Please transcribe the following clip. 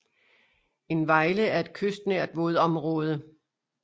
En vejle er et kystnært vådområde